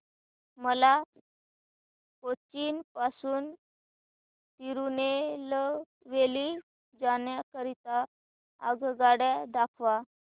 मला कोचीन पासून तिरूनेलवेली जाण्या करीता आगगाड्या दाखवा